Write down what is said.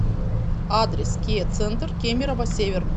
адрес киа центр кемерово север